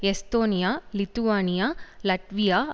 Estonia Lithuania Latvia